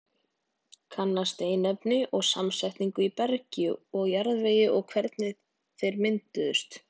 Kanna steinefni og samsetningu í bergi og jarðvegi og hvernig þeir mynduðust.